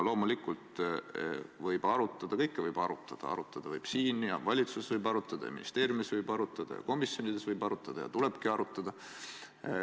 Loomulikult võib arutada, kõike võib arutada, arutada võib siin, valitsuses võib arutada, ministeeriumis võib arutada ja komisjonides võib arutada ja tulebki arutada.